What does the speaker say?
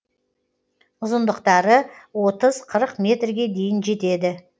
ұзындықтары отыз қырық метрге дейін жетеді